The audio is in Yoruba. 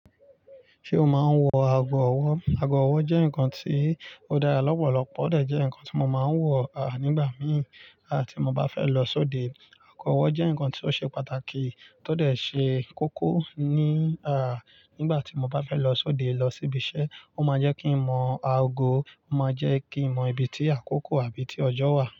Ṣé o máa ń wọ ago ọwọ́? Ago ọwọ́ jẹ́ nǹkan tí ó dára lọ́pọ̀lọpọ̀, ó dẹ̀ jẹ́ nǹkan tí mo máa ń wọ̀, à, nígbà mìí à tí mo bá fẹ́ lọ sóde. Ago ọwọ́ jẹ́ nǹkan tí ó ṣe pàtàkì tó dẹ̀ ṣe kókó ní, à, nígbà tí mo bá fẹ́ lọ sóde, lọ síbi iṣẹ́. Ó máa n jẹ́ kí n mọ ago, ó máa jẹ́ kí n mọ ibi tí àkókò àbí tí ọjọ́ wà.